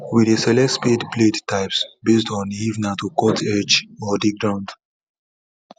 we dey select spade blade types based on if na to cut edge or dig ground